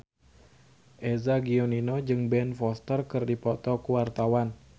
Eza Gionino jeung Ben Foster keur dipoto ku wartawan